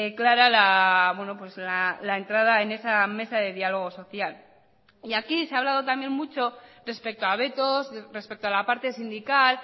clara la entrada en esa mesa de diálogo social y aquí se ha hablado también mucho respecto a vetos respecto a la parte sindical